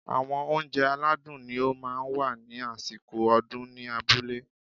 Àwọn óunjẹ aládùn ni ó máa ń wà ní àsìkò ọdún ní abúlé